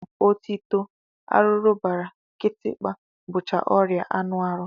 Otito, arụrụbara, kịtịkpa bụcha ọrịa anụahụ